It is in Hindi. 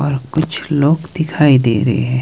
और कुछ लोग दिखाई दे रहे हैं।